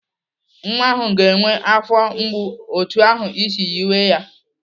Nwa ahụ ga-enwe afọ mgbu otu ahụ isi yiwe ya.